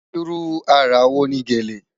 Ìrú ara wo ni gẹ́lẹ̀?